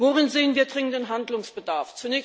Worin sehen wir dringenden Handlungsbedarf?